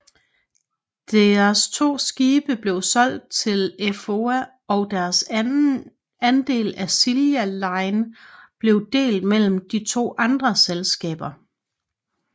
Deres to skibe blev solgt til Effoa og deres andel af Silja Line blev delt mellem de to andre selskaber